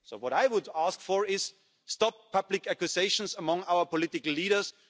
So what I would ask for is an end to public accusations among our political leaders.